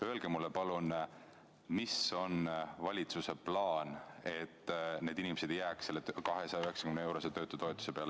Öelge mulle, palun, mis on valitsuse plaan, et need inimesed ei jääks selle 290-eurose töötutoetuse peale.